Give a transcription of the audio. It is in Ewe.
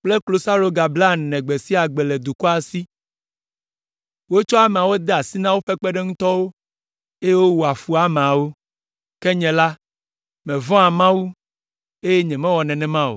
kple klosaloga blaene gbe sia gbe le dukɔa si. Wotsɔ ameawo de asi na woƒe kpeɖeŋutɔwo, eye wowɔa fu ameawo. Ke nye la, mevɔ̃a Mawu, eye nyemewɔ nenema o.